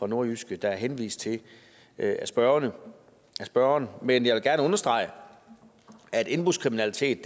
nordjyske der er henvist til af spørgeren spørgeren men jeg vil gerne understrege at indbrudskriminalitet